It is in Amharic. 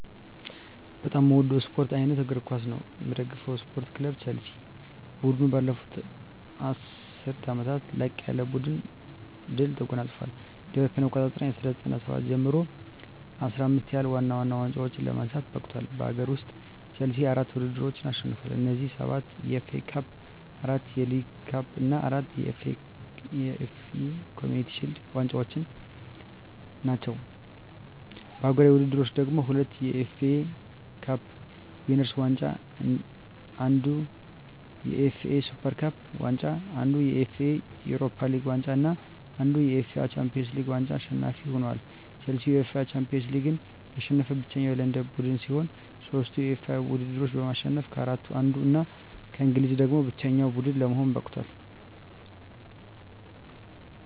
በጣም ምወደው ስፓርት አይነት እግር ኳስ ነው። ምደግፈው ስፓርት ክለብ ቸልሲ። ቡድኑ ባለፉት ሁለት ዐሥርት ዓመታት ላቅ ያለ ድል ተጎናጽፏል። ከእ.ኤ.አ 1997 ጀምሮ ደግሞ 15 ያህል ዋና ዋና ዋንጫዎችን ለማንሳት በቅቷል። በአገር ውስጥ፣ ቼልሲ አራት ውድድሮችን አሸንፏል። እነዚህም፤ ሰባት የኤፍ ኤ ካፕ፣ አራት የሊግ ካፕ እና አራት የኤፍ ኤ ኮምዩኒቲ ሺልድ ዋንጫዎች ናቸው። በአህጉራዊ ውድድሮች ደግሞ፤ ሁለት የዩኤፋ ካፕ ዊነርስ ዋንጫ፣ አንድ የዩኤፋ ሱፐር ካፕ ዋንጫ፣ አንድ የዩኤፋ ዩሮፓ ሊግ ዋንጫ እና አንድ የዩኤፋ ሻምፒዮንስ ሊግ ዋንጫ አሸናፊ ሆኖአል። ቼልሲ የዩኤፋ ሻምፒዮንስ ሊግን ያሸነፈ ብቸኛው የለንደን ቡድን ሲሆን፣ ሦስቱንም የዩኤፋ ውድድሮች በማሸነፍ ከአራቱ አንዱ እና ከእንግሊዝ ደግሞ ብቸኛው ቡድን ለመሆን በቅቷል።